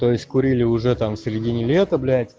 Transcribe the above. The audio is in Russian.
то есть курили уже там в середине лета блять